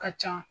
Ka ca